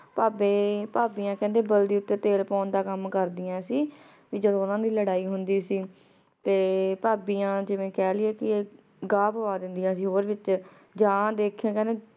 ਭਾਭੀ ਭਾਭਿਯਾਂ ਕੇਹ੍ਨ੍ਡੇ ਬਲਦੀ ਤੇ ਤਿਲ ਪਾਨ ਦਾ ਕਾਮ ਕਰ੍ਦਿਯਾਂ ਸੀ ਜਦੋਂ ਓਨਾਂ ਦੀ ਲਾਰੀ ਹੁੰਦੀ ਸੀ ਤੇ ਭਾਭਿਯਾਂ ਜਿਵੇਂ ਕਹ ਲਿਯੇ ਕੇ ਗਾਹ ਪਾ ਦੇਨ੍ਦਿਯਾਂ ਸੀ ਹੋਰ ਵਿਚ ਯਾਨ ਦੇਖੀਏ ਫੇਰ